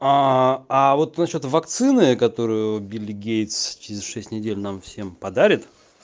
а вот насчёт вакцины которую билл гейтс через шесть недель нам всем подарят